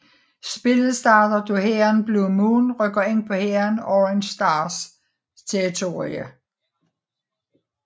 Spillet starter da hæren Blue Moon rykker ind på hæren Orange Stars territorium